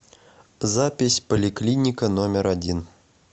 запись поликлиника номер один